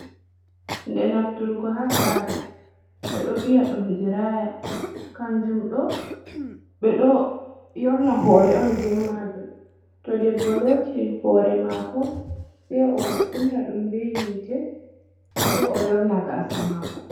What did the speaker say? De nafturgo ha sare be ɗo viya dum diraya ,kanjum do be ɗo yorna hore on be majum to debboloti hore mako se o kunna dum be hite se o yorna gaasa mako,